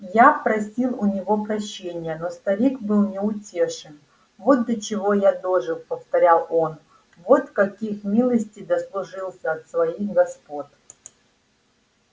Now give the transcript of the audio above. я просил у него прощения но старик был неутешен вот до чего я дожил повторял он вот каких милостей дослужился от своих господ